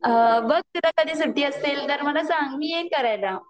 बघ तुला कधी सुट्टी असेल तर मला सांग मी येईन करायला